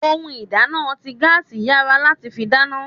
Ohun ìdáná ti gaasi yára láti fi dáná.